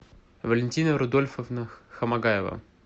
валентина рудольфовна хамагаева